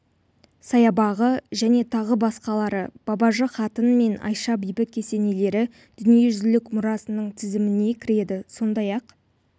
саябағы және тағы басқалары бабажы қатын мен айша бибі кесенелері дүниежүзілік мұрасының тізіміне кіреді сондай-ақ